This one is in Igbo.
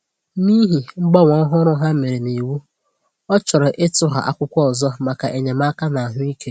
N’ihi mgbanwe òhùrù ha mere n’iwu, ọ chọ̀rò ịtụghà akwụkwọ ọzọ maka enyémàkà n’ahụ́ ike.